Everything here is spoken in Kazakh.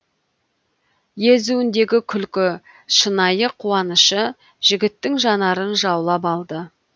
езуіндегі күлкі шынайы қуанышы жігіттің жанарын жаулап алды